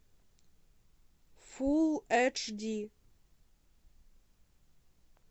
фул эдж ди